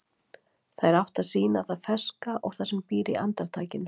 Þær áttu að sýna það ferska og það sem býr í andartakinu.